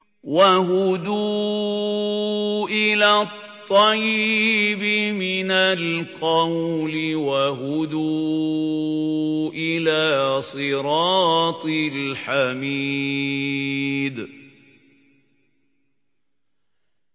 وَهُدُوا إِلَى الطَّيِّبِ مِنَ الْقَوْلِ وَهُدُوا إِلَىٰ صِرَاطِ الْحَمِيدِ